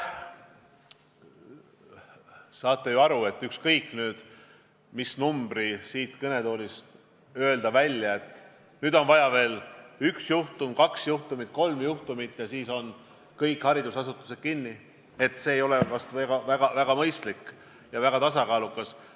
Te saate ju aru, et ükskõik, mis numbri ma siit kõnetoolist välja ütlen – et nüüd on vaja veel üks, kaks või kolm juhtumit ja siis pannakse kõik haridusasutused kinni –, see poleks väga mõistlik ega tasakaalukas.